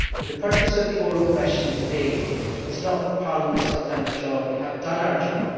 The purpose of the oral question today is not that the Parliament has not done its job we have done our job.